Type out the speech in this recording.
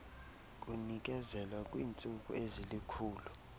kunikezelwa kwiintsuku ezilikhulu